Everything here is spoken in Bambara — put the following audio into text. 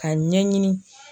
Ka ɲɛɲini.